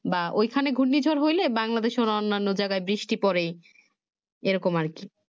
বা ওই খানে ঘূর্ণি ঝড় হইলে Bangladeshe অনন্য জাগায় বৃষ্টি পরে এরকম আরকি